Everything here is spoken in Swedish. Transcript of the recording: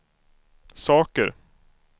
saker